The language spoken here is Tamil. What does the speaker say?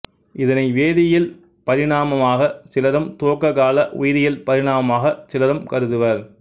இதனை வேதியியல் பரிணாமமாகச் சிலரும் துவக்கக் கால உயிரியல் பரிணாமமாகச் சிலரும் கருதுவர்